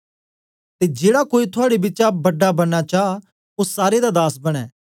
ते जेड़ा कोई थुआड़े बिचा बड़ा बनना चा ओ सारे दा दास बने